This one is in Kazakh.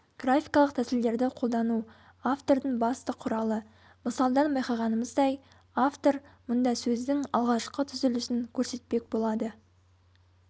графикалық тәсілдерді қолдану автордың басты құралы мысалдан байқағанымыздай автор мұнда сөздің алғашқы түзілісін көрсетпек болады